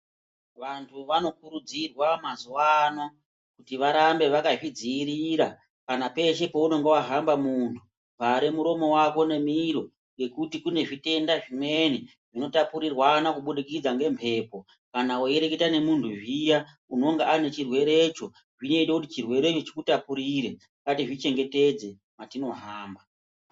Vanthu vanokurudzirwa mazuwa ano kuti varambe vakazvidziirira kana peshe paunenge wahamba munhu vare muromo wako nemiro ngekuti kune zvitenda zvimweni zvinotapurirwana kubudikidza ngemphepo kana weireketa nemuntu zviya unonga ane chirwerecho zvinoite kuti chirwerecho chikutapurire. Ngatizvichengetedze metinohamba.